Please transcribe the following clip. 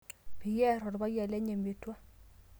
peyie aar olpayian lenye metua